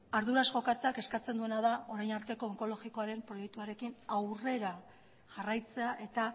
arduraz jokatzea eskatzen duena da orain arteko onkologikoaren proiektuarekin aurrera jarraitzea eta